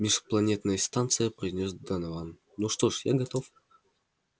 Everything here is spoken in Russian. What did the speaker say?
межпланетная станция произнёс донован ну что ж я готов